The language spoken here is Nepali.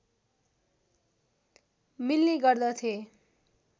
मिल्ने गर्दथे